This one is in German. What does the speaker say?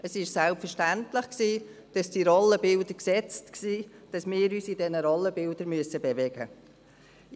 Es war selbstverständlich, dass die Rollenbilder gesetzt waren, dass wir uns in diesen Rollenbildern bewegen müssen.